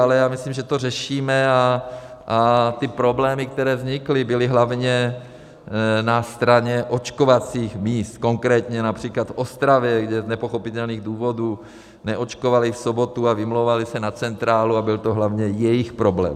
Ale já myslím, že to řešíme, a ty problémy, které vznikly, byly hlavně na straně očkovacích míst, konkrétně například v Ostravě, kde z nepochopitelných důvodů neočkovali v sobotu a vymlouvali se na centrálu, a byl to hlavně jejich problém.